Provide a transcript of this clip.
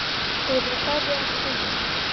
Þeir eru færri en við höldum!